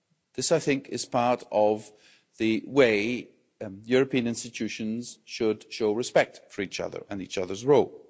This, I think, is part of the way European institutions should show respect for each other and each other's role.